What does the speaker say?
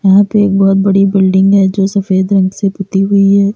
यहां पे एक बहोत बड़ी बिल्डिंग है जो सफेद रंग से पुती हुई है।